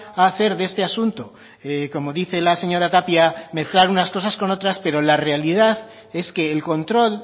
a hacer de este asunto como dice la señora tapia mezclar unas cosas con otras pero la realidad es que el control